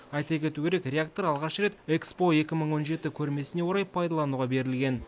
айта кету керек реактор алғаш рет экспо екі мың он жеті көрмесіне орай пайдалануға берілген